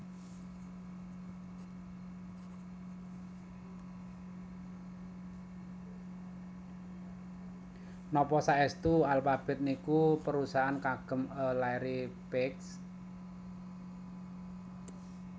Nopo saestu Alphabet niku perusahaan kagem e Larry Page?